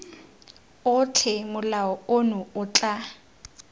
otlhe molao ono o tla